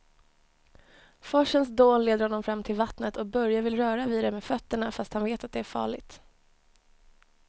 Forsens dån leder honom fram till vattnet och Börje vill röra vid det med fötterna, fast han vet att det är farligt.